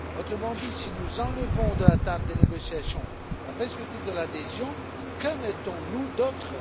Autrement dit, si nous enlevons de la table des négociations la perspective de l'adhésion, que mettons nous d'autre?